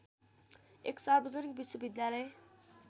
एक सार्वजनिक विश्वविद्यालय